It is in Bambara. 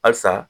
Halisa